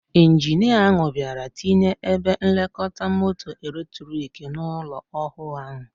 Ijinia ahụ bịara ịtinye ebe nlekọta moto eletrik n'ụlọ ọhụụ ahụ.